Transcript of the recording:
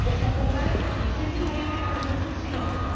Pour s'en convaincre, il suffit de regarder la résolution Sri Lanka.